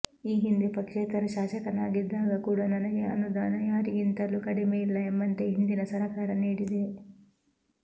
ಈ ಹಿಂದೆ ಪಕ್ಷೇತರ ಶಾಸಕನಾಗಿದ್ದಾಗ ಕೂಡ ನನಗೆ ಅನುದಾನ ಯಾರಿಗಿಂತಲೂ ಕಡಿಮೆ ಇಲ್ಲ ಎಂಬಂತೆ ಹಿಂದಿನ ಸರಕಾರ ನೀಡಿದೆ